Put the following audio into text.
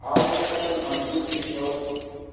Our discussion on Tuesday showed